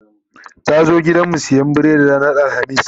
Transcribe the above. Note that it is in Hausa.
ta zo gidanmu siyan biredi ranar alhamis